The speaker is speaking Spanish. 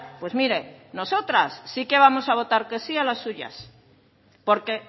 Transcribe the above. pues mire nosotras sí que vamos a votar que sí a las suyas porque